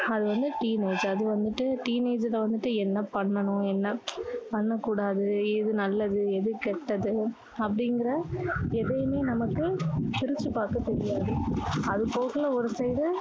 அது வந்து teenage அது வந்துட்டு teenage ல வந்து என்ன பண்ணணும் என்ன பண்ணக் கூடாது எது நல்லது எது கெட்டது அப்படிங்கற எதுவுமே நமக்கு பிரிச்சி பர்க்க தெரியாது அது போக ஒரு side டு